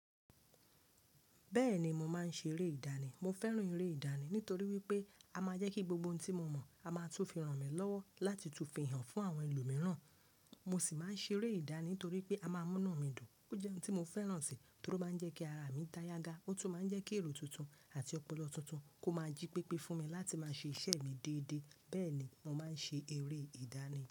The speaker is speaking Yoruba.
Bẹ́ẹ̀ni, mo máa ń ṣe eré ìdánì. Mo fẹ́ràn eré ìdánì nítorí wípé a máa jẹ́ kí gbogbo ohun tí mo mọ̀, a máa tún fi ràn mí lọ́wọ́ láti tún fi hàn fún àwọn ẹlòmíràn. Mo sì máa ń ṣe eré ìdáni nítorípé a máa múnu mi dùn. Ó jẹ́ ohun tí mo fẹ́ràn sì torí ó máa ń jẹ́ kí ara mi dá yaga. Ó tún máa ń jẹ́ kí èrò tuntun àti ọpọlọ tuntun kó máa jí pípé fún mi láti máa ṣe iṣẹ́ mi déédéé. Bẹ́ẹ̀ni, mo máa ń ṣe eré ìdánì.